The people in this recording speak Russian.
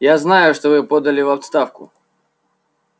я знаю что вы подали в отставку